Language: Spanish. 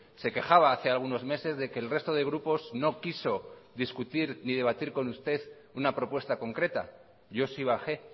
se quejaba hace algunos meses de que el resto de grupos no quiso discutir ni debatir con usted una propuesta concreta yo sí bajé